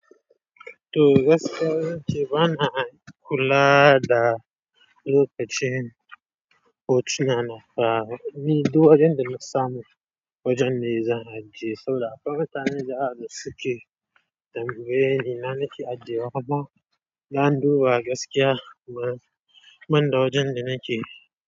To gaskiya zance bana kula da lokacin. Hotuna na na fa ni duk wajen da na samu wajen ne zan ajiye saboda akwai mutane dayawa da suke tambaye ni na nake ajiyewa amma zan duba gaskiya ban da wajen da nake.